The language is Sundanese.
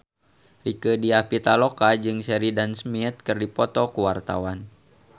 Rieke Diah Pitaloka jeung Sheridan Smith keur dipoto ku wartawan